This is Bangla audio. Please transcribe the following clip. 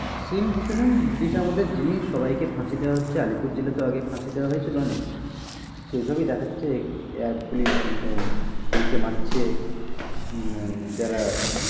Scene কিছু না ব্রিটিশ আমলের জিনিস সবাই কে ফাঁসি দেওয়া হচ্ছে, আলিপুর জেলে তো ফাঁসি দেওয়া হয়েছিলো আগে অনেক সেই সবই দেখাচ্ছে police আহ এদের কে মারছে উম যারা,